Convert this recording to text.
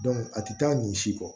a tɛ taa nin si kɔ